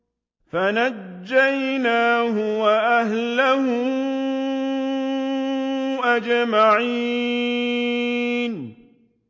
فَنَجَّيْنَاهُ وَأَهْلَهُ أَجْمَعِينَ